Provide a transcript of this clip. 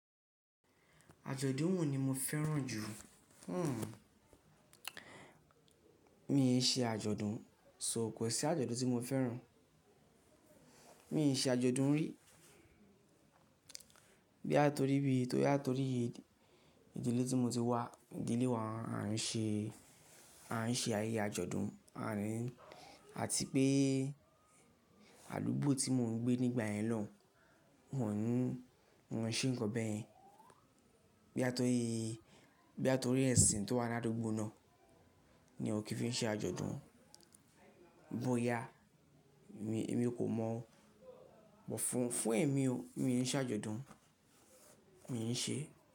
Àjọ̀dún wọ̀n ni mo fẹ́ràn jù? Hhm, mi n ṣe àjọ̀dún, sọ òkọ sí àjọ̀dún tí mo fẹ́ràn. Mi n ṣe àjọ̀dún rí. Bí àti torí bi, torí àti torí yi, ìdílé tí mo ti wà, ìdílé wa a n ṣe, a n ṣe ayẹyẹ àjọ̀dún àti pé àdúgbò tí mò ń gbé nígbà yẹn ló, wọ́n ń, wọ́n ń ṣe ǹkan bẹ́ẹ̀. Bí àti torí, bí àti torí ẹ̀sìn tó wà ní àdúgbò náà ni òkè fi n ṣe àjọ̀dún. Bóyá mi, èmi kò mọ̀. Wọ́n fún, fún èmi o, mi ń ṣe àjọ̀dún, mi ń ṣe.